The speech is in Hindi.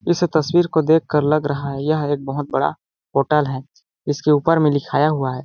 इस तस्वीर को देख कर लग रहा है ये एक बहोत बड़ा होटल है इसके ऊपर में लिखाया हुआ है।